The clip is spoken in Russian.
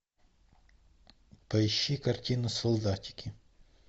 поищи картину солдатики